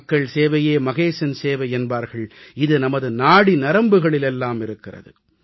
மக்கள் சேவையே மகேசன் சேவை என்பார்கள் இது நமது நாடி நரம்புகளில் எல்லாம் இருக்கிறது